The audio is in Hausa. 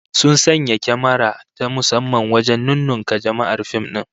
Sun sanya kyamara ta musamman wajen nunnunka jama'ar fim din